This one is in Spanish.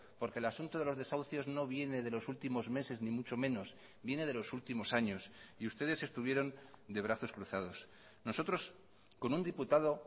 porque el asunto de los desahucios no viene de los últimos meses ni mucho menos viene de los últimos años y ustedes estuvieron de brazos cruzados nosotros con un diputado